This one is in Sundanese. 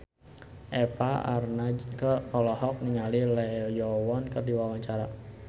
Eva Arnaz olohok ningali Lee Yo Won keur diwawancara